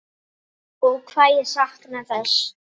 Ó hvað ég sakna þess.